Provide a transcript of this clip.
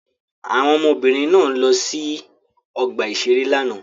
Àwọn ọmọbìnrin náà lọ sí ọgbà-ìṣeré lánàá.